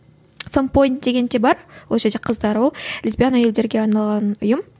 фан поинт деген де бар ол жерде қыздар ол лесбиян әйелдерге арналған ұйым